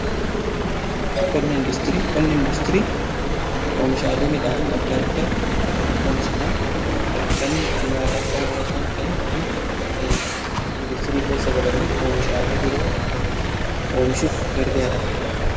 Qonni indaastirii oomishaalee midhaan adda addaa lafarratti oomishaman kan nyaataaf oolan osoo hin ta'in kan indaastirii keessa galanii oomishaalee biroo oomshuuf gargaaranidha.